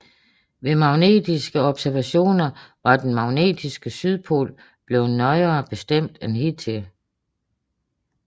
Ved magnetiske observationer var den magnetiske sydpol bleven nøjere bestemt end hidtil